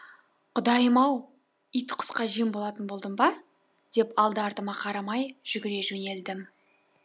құдайым ау ит құсқа жем болатын болдым ба деп алды артыма қарамай жүгіре жөнелдім